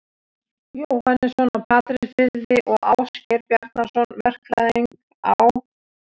Jóhannesson á Patreksfirði og Ásgeir Bjarnason, verkfræðing á